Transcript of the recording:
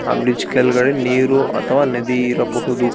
ಆ ಬ್ರಿಡ್ಜ್ ಕೆಳಗಡೆ ನೀರು ಅಥವಾ ನದಿ ಇರಬಹುದು.